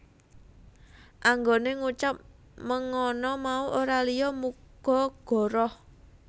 Anggone ngucap mengana mau ora liya muga goroh